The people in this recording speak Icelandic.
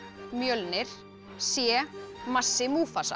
Mjölnir c massi